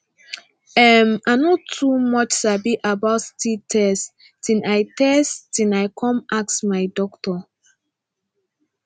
um i no too much sabi about sti test till i test till i come ask my doctor